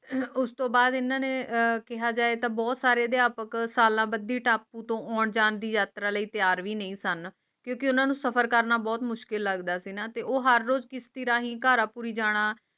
ਉਸ ਤੋਂ ਬਾਅਦ ਇਨ੍ਹਾਂ ਨੇ ਕਿਹਾ ਜਾਏ ਤਾਂ ਬਹੁਤ ਸਾਰੇ ਅਧਿਆਪਕ ਕਰਨ ਦੀ ਟਾਪੂ ਤੋਂ ਆਉਣ-ਜਾਣ ਦੀ ਯਾਤਰਾ ਲਈ ਤਿਆਰ ਹੀ ਨਹੀਂ ਸਨ ਕਿਤੇ ਉਨ੍ਹਾਂ ਨੂੰ ਸਫਰ ਕਰਨਾ ਬਹੁਤ ਮੁਸ਼ਕਿਲ ਲਗਦਾ ਤੇ ਉਹਾ ਨੂਰ ਸ਼ਾਹੀ ਕਰਾ ਪੂਰੀ ਜਾਣਾ